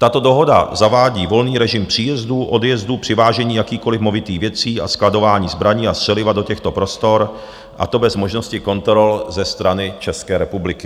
Tato dohoda zavádí volný režim příjezdů, odjezdů, přivážení jakýkoliv movitých věcí a skladování zbraní a střeliva do těchto prostor, a to bez možnosti kontrol ze strany České republiky.